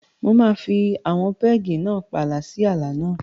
Mo máa fi àwọn pẹ́ẹ̀gì náà pààlà sí ààlà náà.